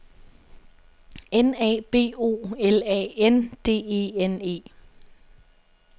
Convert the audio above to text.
N A B O L A N D E N E